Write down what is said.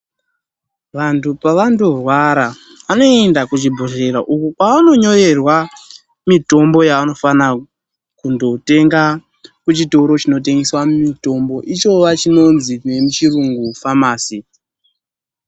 Vantu pavanorwara, vanoenda kuchibhedhlera uko kwavanonyorerwa mitombo yavanofanira kundotenga kuchitoro chinotengeswa mitombo ichova chinonzi nemuchirungu famasi.